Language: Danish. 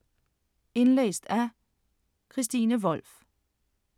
Indlæst af: